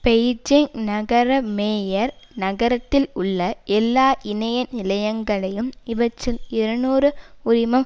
Beijing நகர mayor நகரத்தில் உள்ள எல்லா இணைய நிலையங்களையும் இவற்றில் இருநூறு உரிமம்